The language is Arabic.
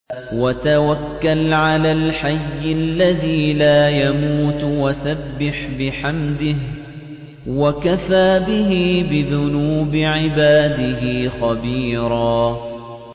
وَتَوَكَّلْ عَلَى الْحَيِّ الَّذِي لَا يَمُوتُ وَسَبِّحْ بِحَمْدِهِ ۚ وَكَفَىٰ بِهِ بِذُنُوبِ عِبَادِهِ خَبِيرًا